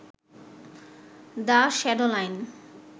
the shadow line